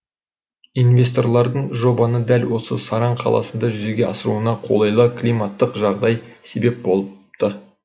инвесторлардың жобаны дәл осы саран қаласында жүзеге асыруына қолайлы климаттық жағдай себеп болыпты